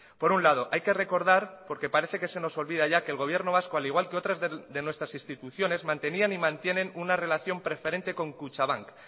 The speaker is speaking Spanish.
por un lado hay que recordar porque parece que se nos olvida ya que el gobierno vasco al igual que otras de nuestras instituciones mantenían y mantienen una relación preferente con kutxabank